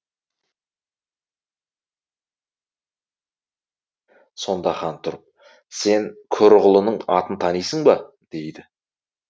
сонда хан тұрып сен көрұғылының атын танисың ба дейді